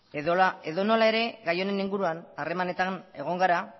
edonola ere gai honen inguruan harremanetan egon gara